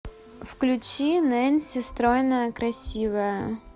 включи нэнси стройная красивая